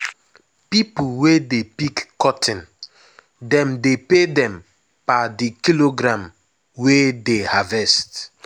pipo wey dey pick cotton dem dey pay dem per the kilogram wey dey harvest.